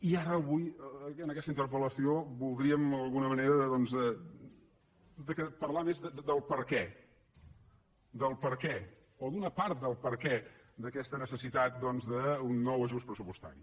i ara avui en aquesta interpel·lació voldríem d’alguna manera parlar més del per què del per què o d’una part del per què d’aquesta necessitat d’un nou ajust pressupostari